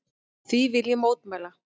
Því vil ég mótmæla!